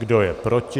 Kdo je proti?